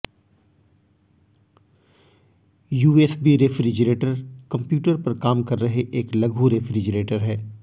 USB refrigerator computer पर काम कर रहे एक लघु रेफ्रिजरेटर है